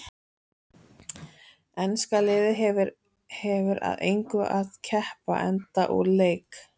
Enska liðið hefur að engu að keppa enda úr leik.